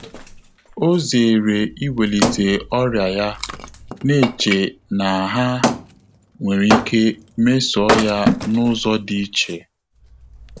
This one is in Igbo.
Ọ́ zèèrè ìwélíté ọ́rị́à yá, nà-échè nà há nwèrè íké mésọ́ọ́ yá n’ụ́zọ́ dị́ íchè.